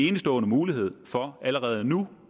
enestående mulighed for allerede nu